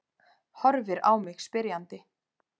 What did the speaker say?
Horfir á mig spyrjandi.